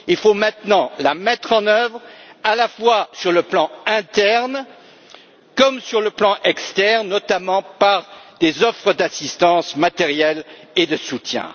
Il faut maintenant le mettre en œuvre à la fois sur le plan interne, comme sur le plan externe, notamment par des offres d'assistance matérielle et de soutien.